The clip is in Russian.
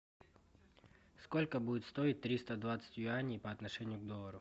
сколько будет стоить триста двадцать юаней по отношению к доллару